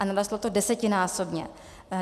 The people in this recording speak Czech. A narostlo to desetinásobně.